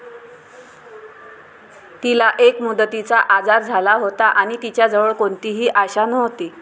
तिला एक मुदतीचा आजार झाला होता आणि तिच्याजवळ कोणतीही आशा नव्हती.